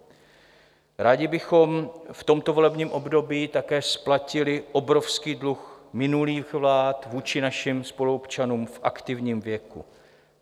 Rádi bychom v tomto volebním období také splatili obrovský dluh minulých vlád vůči našim spoluobčanům v aktivním věku.